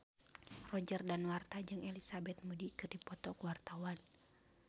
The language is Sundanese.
Roger Danuarta jeung Elizabeth Moody keur dipoto ku wartawan